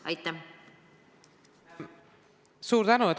Suur tänu!